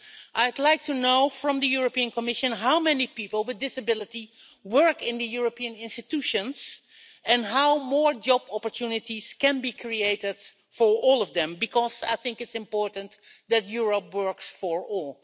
I'd like to know from the Commission how many people with a disability work in the European institutions, and how more job opportunities can be created for all of them, because I think it's important that Europe works for all.